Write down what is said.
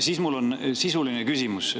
Siis mul on sisuline küsimus.